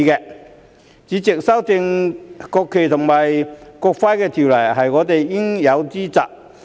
代理主席，修訂《國旗及國徽條例》是我們應有之責。